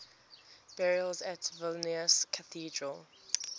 burials at vilnius cathedral